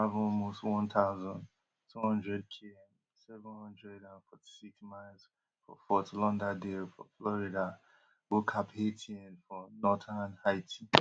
di shipment bin travel almost one thousand, two hundredkm seven hundred and forty-six miles for fort lauderdale for florida go caphaitien for northern haiti